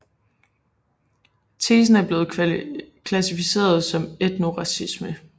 Tesen er blevet klassificeret som etnoracisme